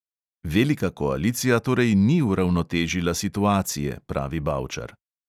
Velika koalicija torej ni uravnotežila situacije, pravi bavčar.